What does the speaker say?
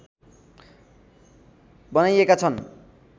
बनाइएका छन्